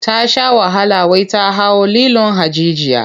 Ta sha wahala wai ta hau lilon hajijiya.